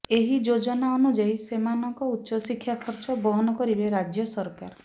ଏହି ଯୋଜନା ଅନୁଯାୟୀ ସେମାନଙ୍କ ଉଚ୍ଚଶିକ୍ଷା ଖର୍ଚ୍ଚ ବହନ କରିବେ ରାଜ୍ୟ ସରକାର